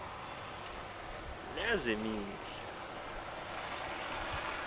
lezemihla